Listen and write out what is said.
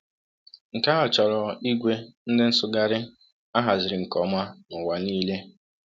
Nke ahụ chọrọ ìgwè ndị nsụgharị a haziri nke ọma n’ụwa niile.